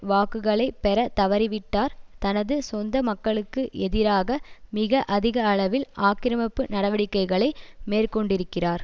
வாக்குகளை பெற தவறிவிட்டவர் தனது சொந்த மக்களுக்கு எதிராக மிக அதிக அளவில் ஆக்கிரமிப்பு நடவடிக்கைகளை மேற்கொண்டிருக்கிறார்